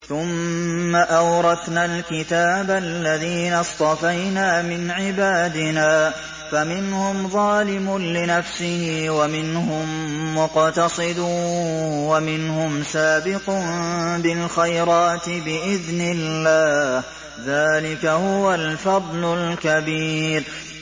ثُمَّ أَوْرَثْنَا الْكِتَابَ الَّذِينَ اصْطَفَيْنَا مِنْ عِبَادِنَا ۖ فَمِنْهُمْ ظَالِمٌ لِّنَفْسِهِ وَمِنْهُم مُّقْتَصِدٌ وَمِنْهُمْ سَابِقٌ بِالْخَيْرَاتِ بِإِذْنِ اللَّهِ ۚ ذَٰلِكَ هُوَ الْفَضْلُ الْكَبِيرُ